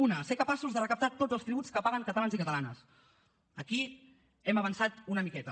una ser capaços de recaptar tos els tributs que paguen catalans i catalanes aquí hem avançat una miqueta